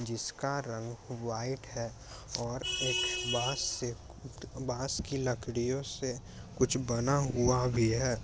जिसका रंग व्हाइट है और एक बाँस से बाँस की लकड़ियों से कुछ बना हुआ भी है।